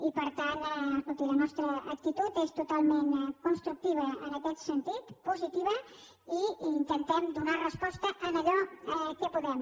i per tant escolti la nostra actitud és totalment constructiva en aquest sentit positiva i hi intentem donar resposta en allò que podem